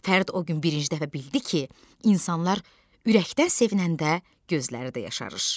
Fərid o gün birinci dəfə bildi ki, insanlar ürəkdən sevinəndə gözləri də yaşarır.